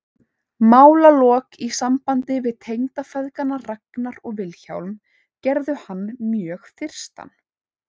Málalok í sambandi við tengdafeðgana Ragnar og Vilhjálm gerðu hann mjög þyrstan.